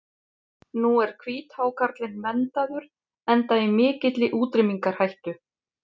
Nú er hvíthákarlinn verndaður enda í mikilli útrýmingarhættu.